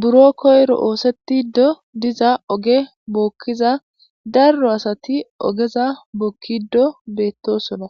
buro koyro oosetiddo diza oge bookkiza darro asati ogeza bookkido beettosono